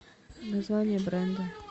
название бренда